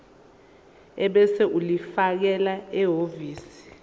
ebese ulifakela ehhovisi